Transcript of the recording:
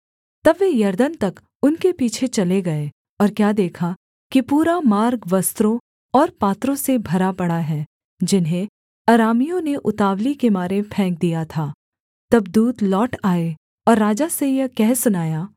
तब वे यरदन तक उनके पीछे चले गए और क्या देखा कि पूरा मार्ग वस्त्रों और पात्रों से भरा पड़ा है जिन्हें अरामियों ने उतावली के मारे फेंक दिया था तब दूत लौट आए और राजा से यह कह सुनाया